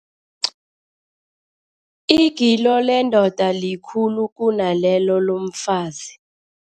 Igilo lendoda likhulu kunalelo lomfazi.